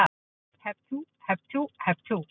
Hep tú, hep tú, hep tú.